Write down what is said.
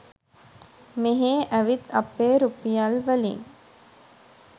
මෙහෙ ඇවිත් අපේ රුපියල් වලින්